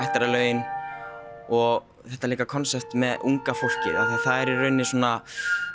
ættjarðarlögin og þetta líka konsept með unga fólkið af það er í rauninni svona